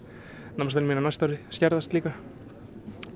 námslánin mín á næsta ári skerðast líka